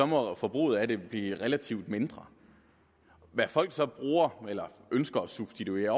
må forbruget af det blive relativt mindre hvad folk så bruger eller ønsker at substituere